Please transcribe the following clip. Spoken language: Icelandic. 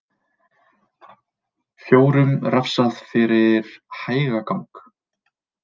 Fjórum refsað fyrir hægagang